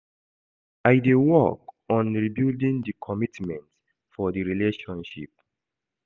I dey work on rebuilding di commitment for di relationship.